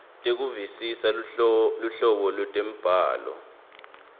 tekuvisisa luhlobo lwetemibhalo